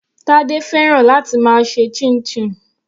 Tade fẹ́ràn láti máa ṣe chinchin.